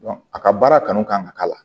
a ka baara kanu kan ka k'a la